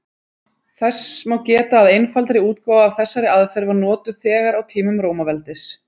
Þess má geta að einfaldari útgáfa af þessari aðferð var notuð þegar á tímum Rómaveldis.